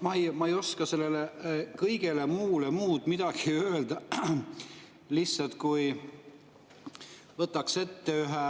Ma ei oska sellele kõige kohta muud midagi öelda kui seda, et lihtsalt võtan ette ühe